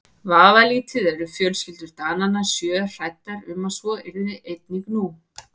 Vafalítið eru fjölskyldur Dananna sjö hræddar um að svo yrði einnig nú.